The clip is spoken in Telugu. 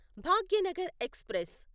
భాగ్యనగర్ ఎక్స్ప్రెస్